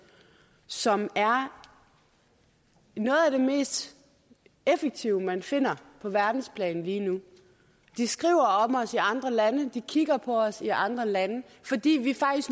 som er noget af det mest effektive man finder på verdensplan lige nu de skriver om os i andre lande de kigger på os i andre lande fordi vi